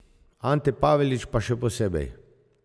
Ante Pavelić pa še posebej.